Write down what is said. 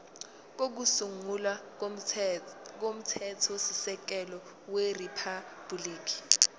kokusungula komthethosisekelo weriphabhuliki